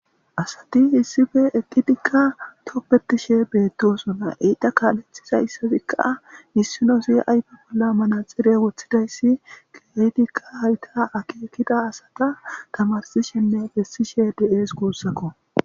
asati hissife eqqidikka toppetishe beettosona eyta kaalethiza issazikka missino si ayfa polla manaxire woththidayssi getikkaa hayta akeekida asata tamarsishenne bessishe deees guussakko